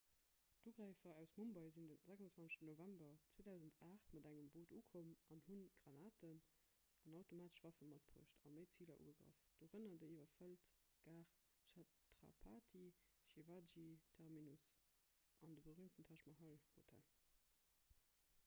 d'ugräifer aus mumbai sinn de 26 november 2008 mat engem boot ukomm an hu granaten an automatesch waffe matbruecht a méi ziler ugegraff dorënner déi iwwerfëllt gare chhatrapati shivaji terminus an de berüümten taj mahal hotel